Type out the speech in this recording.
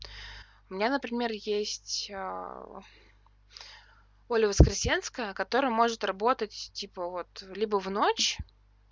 у меня например есть оля воскресенская которое может работать типа вот либо в ночь